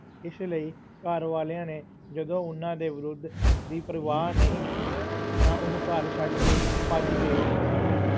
ਇਸ ਲਈ ਘਰ ਵਾਲਿਆਂ ਨੇ ਜਦੋਂ ਉਹਨਾਂ ਦੇ ਵਿਰੋਧ ਦੀ ਪਰਵਾਹ ਨਾ ਕੀਤੀ ਤਾਂ ਉਹ ਘਰ ਛੱਡ ਕੇ ਭੱਜ ਗਏ ਸਨ।